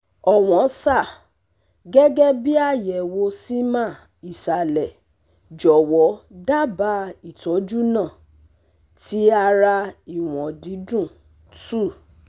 Ọ̀wọ́n Sir, Gẹ́gẹ́ bí àyẹ̀wò seman ìsàlẹ̀ jọ̀wọ́ dábàá Ìtọ́jú náà: Ti ara Iwọn didun - two